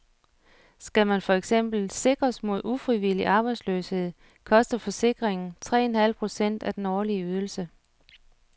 Skal man for eksempel sikres mod ufrivillig arbejdsløshed, koster forsikringen tre en halv procent af den årlige ydelse.